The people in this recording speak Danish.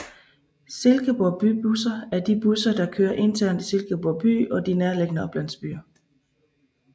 Silkeborg Bybusser er de busser der kører internt i Silkeborg by og de nærliggende oplandsbyer